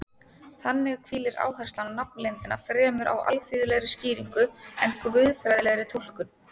Þannig hvílir áherslan á nafnleyndina fremur á alþýðlegri skýringu en guðfræðilegri túlkun.